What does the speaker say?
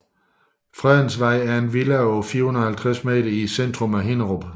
Fredensgade er en villavej på 450 m i centrum af Hinnerup